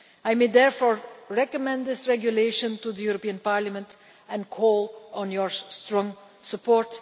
I may therefore recommend this regulation to the Parliament and call for your strong support.